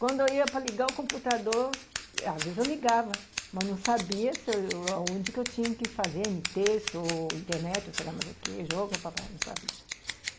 Quando eu ia para ligar o computador, às vezes eu ligava, mas não sabia se aonde que eu tinha que fazer, em texto, ou internet, ou sei lá mais o que, jogo, não sabia.